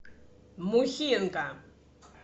мухинка